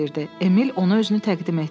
Emil onu özünü təqdim etdi.